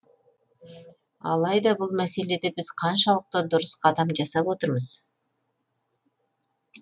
алайда бұл мәселеде біз қаншалықты дұрыс қадам жасап отырмыз